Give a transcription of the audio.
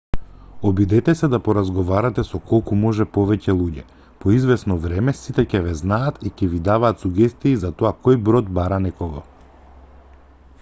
обидете се да поразговарате со колку може повеќе луѓе по извесно време сите ќе ве знаат и ќе ви даваат сугестии за тоа кој брод бара некого